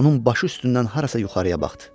onun başı üstündən harasa yuxarıya baxdı.